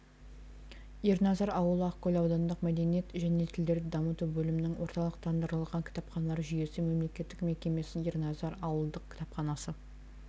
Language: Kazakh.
ерназар ауылы ақкөл аудандық мәдениет және тілдерді дамыту бөлімінің орталықтандырылған кітапханалар жүйесі мемлекеттік мекемесінің ерназар ауылдық кітапханасы